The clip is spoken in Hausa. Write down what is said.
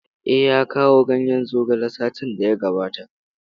Eh, ya kawo ganyen zogale satin da ya gabata.